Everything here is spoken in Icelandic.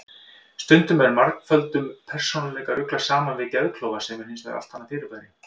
Stundum er margföldum persónuleika ruglað saman við geðklofa sem er hins vegar allt annað fyrirbæri.